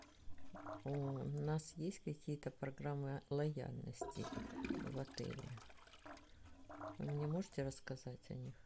у нас есть какие то программы лояльности в отеле вы мне можете рассказать о них